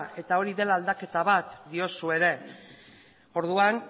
eta hori dela aldaketa bat diozu ere orduan